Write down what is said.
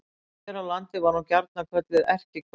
Hér á landi var hún gjarnan kölluð erkihvönn.